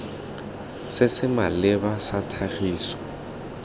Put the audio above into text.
se se maleba sa tlhagiso